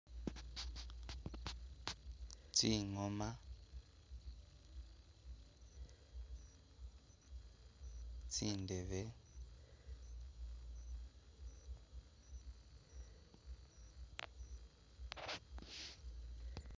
Tsingoma,..... tsindebe,.......